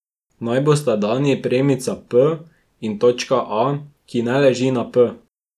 Naj bosta dani premica p in točka A, ki ne leži na p.